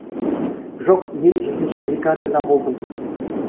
жоқ мен жүзінші бригадада болдым